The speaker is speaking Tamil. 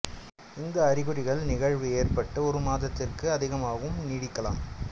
இந்த அறிகுறிகள் நிகழ்வு ஏற்பட்டு ஒரு மாதத்திற்கு அதிகமாகவும் நீடிக்கலாம்